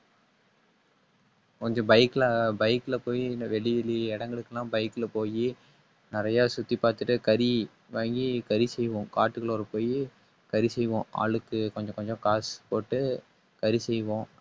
கொஞ்சம் bike ல bike ல போயி, இல்ல வெளி வெளிய இடங்களுக்கெல்லாம் bike ல போயி நிறைய சுத்தி பாத்துட்டு கறி வாங்கி கறி செய்வோம். காட்டுக்குள்ளாற போயி கறி செய்வோம். ஆளுக்கு கொஞ்சம் கொஞ்சம் காசு போட்டு கறி செய்வோம்